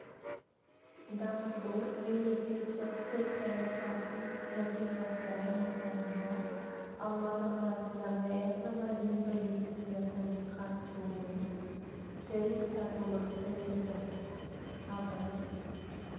дамыту мемлекеттік тіл саясатын насихаттау мақсатында алматы қаласындағы этно-мәдени бірлестіктердің қатысуымен тіл татулық тірегі абай